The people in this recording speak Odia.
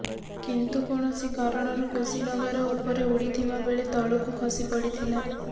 କିନ୍ତୁ କୌଣସି କାରଣରୁ କୁଶିନଗର ଉପରେ ଉଡିଥିବା ବେଳେ ତଳକୁ ଖସି ପଡିଥିଲା